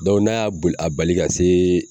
n'a y'a boli a bali ka se